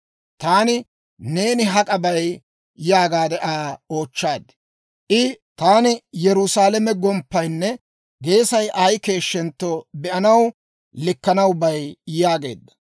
Taani, «Neeni hak'a bay?» yaagaade Aa oochchaad. I, «Taani Yerusaalame gomppaynne geesay ay keeshshentto be'anaw, likkanaw bay» yaageedda.